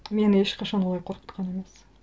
мені ешқашан олай қорқытқан емес